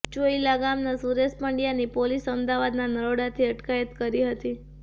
ચોઇલા ગામના સુરેશ પંડ્યાની પોલીસ અમદાવાદના નરોડાથી અટકાયત કરી હતી